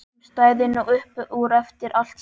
Hún stæði nú upp úr eftir allt saman.